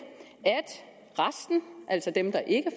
at resten altså dem der ikke